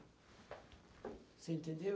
Você entendeu?